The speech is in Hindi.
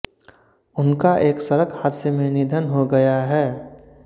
उनका एक सड़क हादसे में निधन को गया है